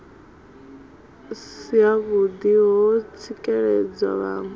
si havhuḓi ho tsikeledza vhaṋwe